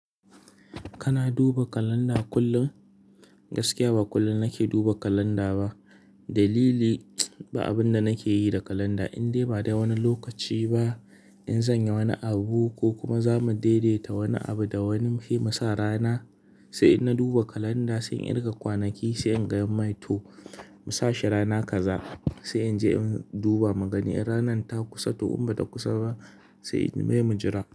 Kana duba kalanda kullum? Gaskiya ba kullum nake duba kalanda ba. Dalili, ba abin da nake yi da kalanda. Indai ba da wani lokaci ba in zan yi wani abu ko kuma za mu daidaita wani abu da wani sai musa rana, sai in na duba kalanda, sai in riƙa kwanaki, sai in gaya mai toh mu sa shi rana kaza, sai in je in duba mu gani in ranar ta kusa toh in ba ta kusa ba sai mu jira.